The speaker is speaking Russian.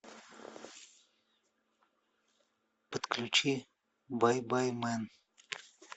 подключи бай бай мен